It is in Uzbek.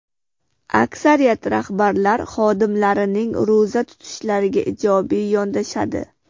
Aksariyat rahbarlar xodimlarining ro‘za tutishlariga ijobiy yondashadi.